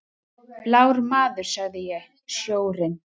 Blár maður, sagði ég: Sjórinn.